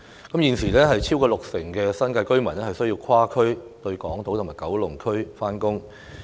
代理主席，超過六成新界居民現時需跨區前往港島及九龍上班。